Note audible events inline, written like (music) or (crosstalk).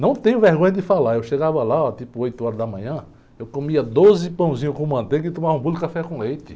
Não tenho vergonha de falar, eu chegava lá, tipo oito horas da manhã, eu comia doze pãozinhos com manteiga e tomava um (unintelligible) de café com leite.